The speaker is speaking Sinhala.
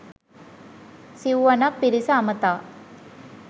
සිව්වනක් පිරිස අමතා